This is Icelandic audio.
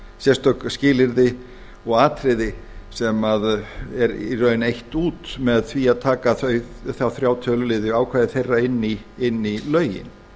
sérstök skilyrði og atriði sem er í rauninni eytt út með því að taka þá þrjá töluliði ákvæði þeirra inn í lögin